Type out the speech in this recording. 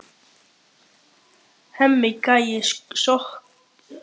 Hemmi gæi sækir okkur á sportbílnum sínum.